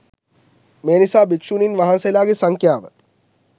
මේ නිසා භික්ෂුණීන් වහන්සේලාගේ සංඛ්‍යාව